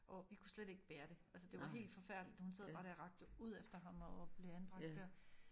Og vi kunne slet ikke bære det altså det var helt forfærdeligt hun sad bare der og rakte ud efter ham og blev anbragt dér